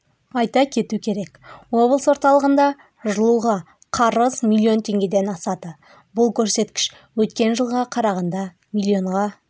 айта кету керек облыс орталығында жылуға қарыз миллион теңгеден асады бұл көрсеткіш өткен жылғыға қарағанда миллионға